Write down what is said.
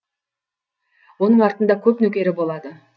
оның артында көп нөкері болады